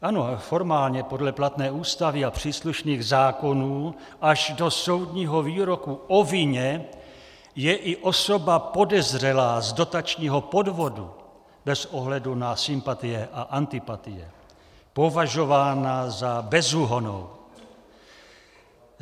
Ano, formálně, podle platné Ústavy a příslušných zákonů, až do soudního výroku o vině je i osoba podezřelá z dotačního podvodu bez ohledu na sympatie a antipatie považována za bezúhonnou.